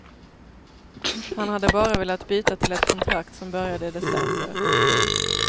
Han hade bara velat byta till ett kontrakt som började i december. punkt